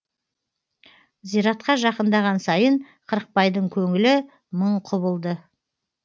зиратқа жақындаған сайын қырықбайдың көңілі мың құбылды